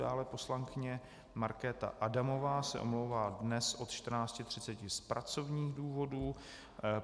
Dále poslankyně Markéta Adamová se omlouvá dnes od 14.30 z pracovních důvodů.